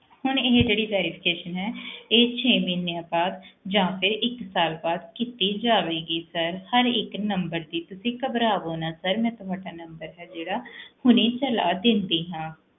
ਹੁਣ ਇਹ ਜਿਹੜੀ verification ਹੈ ਇਹ ਛੇ ਮਹੀਨਿਆਂ ਬਾਅਦ ਜਾਂ ਫਿਰ ਇੱਕ ਸਾਲ ਬਾਅਦ ਕੀਤੀ ਜਾਵੇਗੀ sir ਹਰ ਇੱਕ number ਦੀ, ਤੁਸੀਂ ਘਬਰਾਵੋ ਨਾ sir ਮੈਂ ਤੁਹਾਡਾ number ਹੈ ਜਿਹੜਾ ਹੁਣੀ ਚਲਾ ਦਿੰਦੀ ਹਾਂ